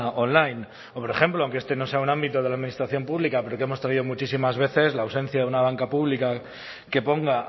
online o por ejemplo aunque este no sea un ámbito de la administración pública pero que hemos traído muchísimas veces la ausencia de una banca pública que ponga